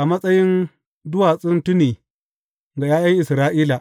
a matsayin duwatsun tuni ga ’ya’yan Isra’ila.